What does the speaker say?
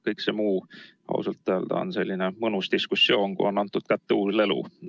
Kõik muu ausalt öelda on selline mõnus diskussioon, kui on kätte antud uus lelu.